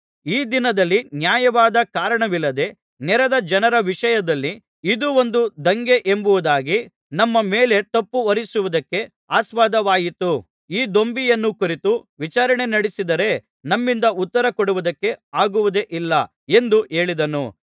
ಈ ದಿನದಲ್ಲಿ ನ್ಯಾಯವಾದ ಕಾರಣವಿಲ್ಲದೆ ನೆರೆದ ಜನರ ವಿಷಯದಲ್ಲಿ ಇದು ಒಂದು ದಂಗೆ ಎಂಬುದಾಗಿ ನಮ್ಮ ಮೇಲೆ ತಪ್ಪುಹೊರಿಸುವುದಕ್ಕೆ ಆಸ್ಪದವಾಯಿತು ಈ ದೊಂಬಿಯನ್ನು ಕುರಿತು ವಿಚಾರಣೆನಡೆಸಿದರೆ ನಮ್ಮಿಂದ ಉತ್ತರಕೊಡುವುದಕ್ಕೆ ಆಗುವುದೇ ಇಲ್ಲ ಎಂದು ಹೇಳಿದನು